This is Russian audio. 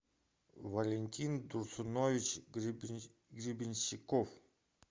валентин турсунович гребенщиков